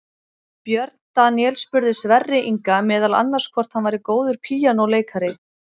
Björn Daníel spurði Sverri Inga meðal annars hvort hann væri góður píanóleikari.